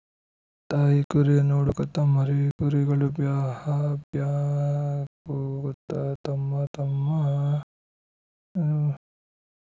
ತಾಯಿಕುರಿಯನ್ನು ಹುಡುಕುತ್ತಾ ಮರಿ ಕುರಿಗಳು ಬ್ಯಾಹಹ ಬ್ಯಾಹಹ ಕೂಗುತ್ತಾ ತಮ್ಮ ತಮ್ಮ